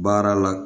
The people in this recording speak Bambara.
Baara la